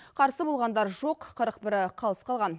қарсы болғандар жоқ қырық бірі қалыс қалған